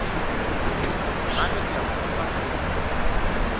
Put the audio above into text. ingabe siyawudzinga umculo